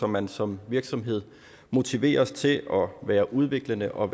man som virksomhed motiveres til at være udviklende og